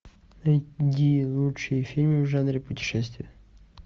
найди лучшие фильмы в жанре путешествия